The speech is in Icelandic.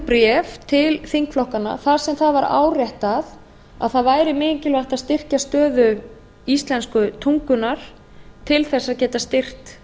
bréf til þingflokkanna þar sem það var áréttað að það væri mikilvægt að styrkja stöðu íslensku tungunnar til þess að geta styrkt